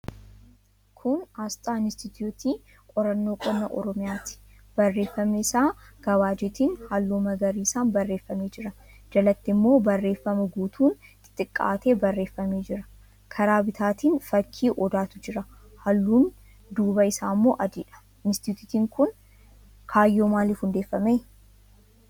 Kun aasxaa Inistitiyuutii Qorannoo Qonnaa Oromiyaati. Barreeffamni isaa gabaajeetiin halluu magariisaan barreeffamee jira. Jalatti immoo barreeffama guutuun xixiqqaatee barreeffamee jira. Karaa bitaatiin fakkii Odaatu jira. Halluun duubaa isaa immoo adiidha. Inistitiyuutiin kun kaayyoo maaliitiif hundeeffame?